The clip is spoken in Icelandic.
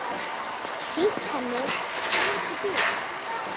Sýnt henni inn í bílana.